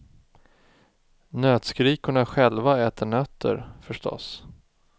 Nötskrikorna själva äter nötter, förstås.